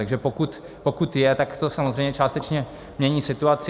Takže pokud je, tak to samozřejmě částečně mění situaci.